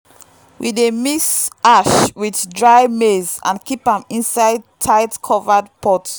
we dey mix ash with dry maize and keep am inside tight-covered pot.